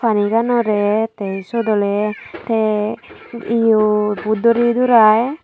paniganorey tey syot oley tey yo bo duri durai.